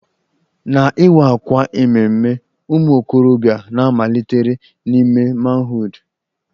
Na iwa àkwà ememme ụmụ okorobịa na-malitere n'ime manhood